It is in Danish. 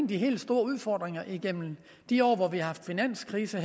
de helt store udfordringer igennem de år hvor vi har haft finanskrise